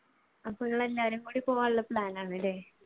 അപ്പൊ നിങ്ങൾ എല്ലാവരും കൂടി പോകാനുള്ള plan ആണല്ലേ?